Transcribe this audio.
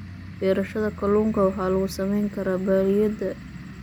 Beerashada kalluunka waxa lagu samayn karaa balliyada.